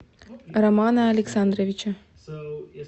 романа александровича